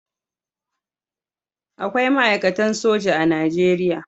Akwai ma'aikatan soji a Najeriya